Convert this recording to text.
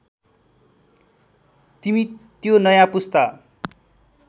तिमी त्यो नयाँ पुस्ता